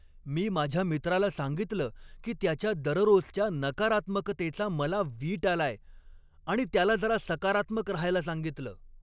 मी माझ्या मित्राला सांगितलं की त्याच्या दररोजच्या नकारात्मकतेचा मला वीट आलाय आणि त्याला जरा सकारात्मक रहायला सांगितलं.